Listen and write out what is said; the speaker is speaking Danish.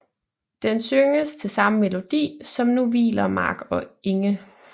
Den synges til samme melodi som Nu hviler Mark og Enge